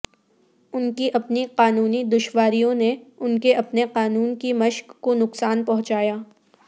ان کی اپنی قانونی دشواریوں نے ان کے اپنے قانون کی مشق کو نقصان پہنچایا